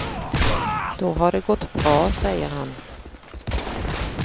Då har det gått bra, säger han.